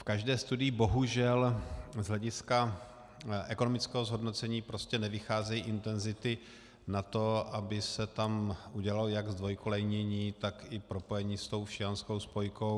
V každé studii bohužel z hlediska ekonomického zhodnocení prostě nevycházejí intenzity na to, aby se tam udělalo jak zdvojkolejnění, tak i propojení s tou všejanskou spojkou.